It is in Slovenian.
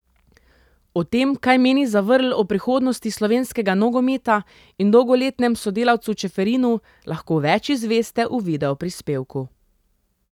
O tem, kaj meni Zavrl o prihodnosti slovenskega nogometa in dolgoletnem sodelavcu Čeferinu, lahko več izveste v videoprispevku.